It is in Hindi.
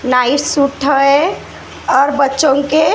नाइस सूट है और बच्चों के--